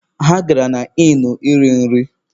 Ha gara na Ịnụ iri nri.